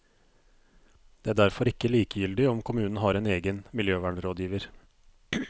Det er derfor ikke likegyldig om kommunen har en egen miljøvernrådgiver.